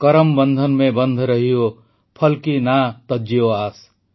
କରମ ବନ୍ଧନ ମେଁ ବନ୍ଧ ରହିୟୋ ଫଲ୍ କୀ ନା ତଜ୍ଜିୟୋ ଆସ୍